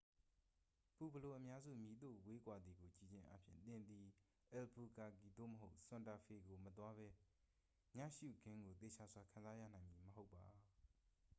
ပူဘလိုအများစု မည်သို့ဝေးကွာသည်ကို ကြည့်ခြင်းအားဖြင့် သင်သည် အယ်လ်ဘူကာကီ သို့မဟုတ် ဆန်တာဖေကို မသွားပဲ ညရှုခင်းကို သေချာစွာခံစားရနိုင်မည်မဟုတ်ပါ